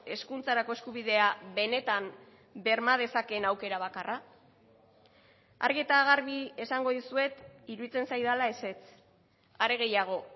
hezkuntzarako eskubidea benetan berma dezakeen aukera bakarra argi eta garbi esango dizuet iruditzen zaidala ezetz are gehiago